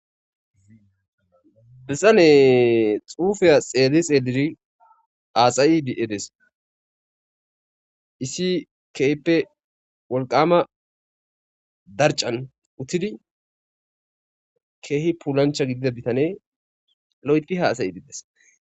Bitaney xupeya xeli xelidi hasyidi dees issi kehipe woliqama darican utidi keehi pullaanich gidida bitaney loyithi hasa'ees.